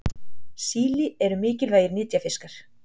Síli eru mikilvægir nytjafiskar.